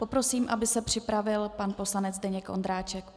Poprosím, aby se připravil pan poslanec Zdeněk Ondráček.